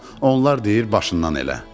onlar deyir başından elə.